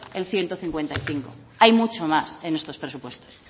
el ciento cincuenta y cinco hay mucho más en estos presupuestos